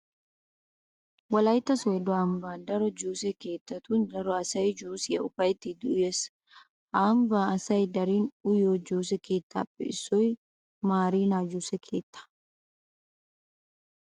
Wolaytta sooddo ambban daro juuse keettatun daro asay juusiya ufayttidi uyees. Ha ambbaa asay darin uyiyo juuse keettatuppe issoy maariinaa juuse keettaa.